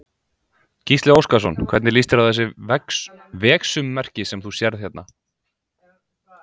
Gísli Óskarsson: Hvernig líst þér á þessi vegsummerki sem þú sérð hérna?